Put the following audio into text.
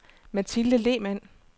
Mathilde Lehmann